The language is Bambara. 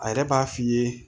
A yɛrɛ b'a f'i ye